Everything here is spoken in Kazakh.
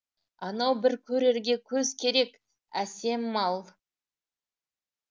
анау бір көрерге көз керек әсем мал